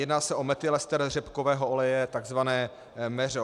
Jedná se o metylester řepkového oleje, tzv. MEŘO.